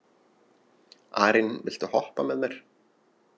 Arín, viltu hoppa með mér?